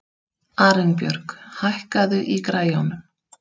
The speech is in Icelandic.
Arinbjörg, hækkaðu í græjunum.